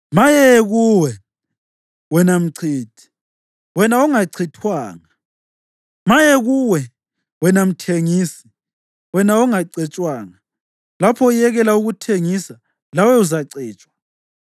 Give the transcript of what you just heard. Maye kuwe, wena mchithi, wena ongachithwanga! Maye kuwe, wena mthengisi, wena ongacetshwanga! Lapho uyekela ukuthengisa, lawe uzacetshwa.